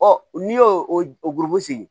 n'i y'o o gurugon sigi